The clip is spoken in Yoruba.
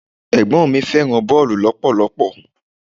Ẹ̀gbọ́n mi fẹ́ràn boolu lọpọlọpọ.